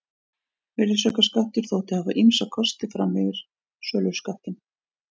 Virðisaukaskattur þótti hafa ýmsa kosti umfram söluskattinn.